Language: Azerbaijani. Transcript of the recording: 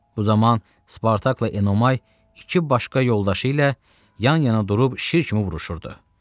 Bu zaman Spartakla Enomay iki başqa yoldaşı ilə yan-yana durub şir kimi vuruşurdu.